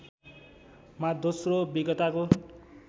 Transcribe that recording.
मा दोश्रो विज्ञताको